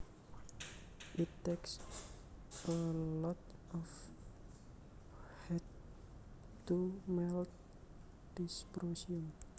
It takes a lot of heat to melt dysprosium